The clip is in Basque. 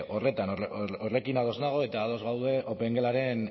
horretan horrekin ados nago eta ados gaude opengelaren